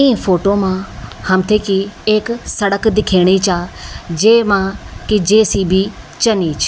ई photo मा हमथे की एक सड़क दिखेणी चा जेमा की जे.सी.बी चनी छ।